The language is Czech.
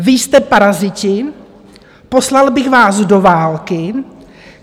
Vy jste paraziti, poslal bych vás do války.